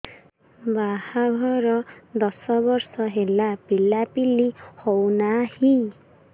ବାହାଘର ଦଶ ବର୍ଷ ହେଲା ପିଲାପିଲି ହଉନାହି